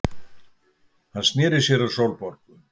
Hann sneri sér að Sólborgu.